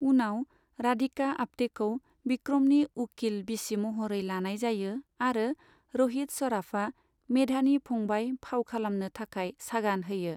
उनाव राधिका आप्टेखौ बिक्रमनि उखिल बिसि महरै लानाय जायो आरो रहित सराफआ भेधानि पुंबाय फाव खालामनो थाखाय सागान होयो ।